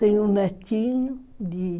Tem um netinho de